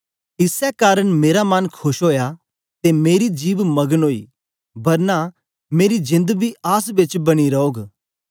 इसै कारन मेरा मन खोश ओया ते मेरी जिभ मगन ओई बरना मेरा जेंद बी आस बेच बनी रौग